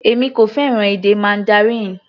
Èmi kò fẹ́ràn èdè Mandarin.